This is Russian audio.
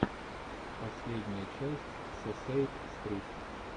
последняя часть сесейм стрит